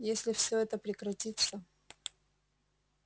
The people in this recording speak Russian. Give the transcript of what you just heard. если все это прекратится